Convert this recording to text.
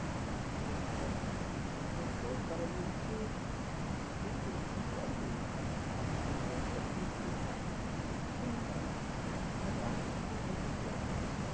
চাষ করাটা মানে সরকার বলছে পেতে কিন্তু আরে লাগ আসবে কোথা থেকে আপনারাই তো দিচ্ছেন না তাহলে আনবো কোথা থেকে আমরা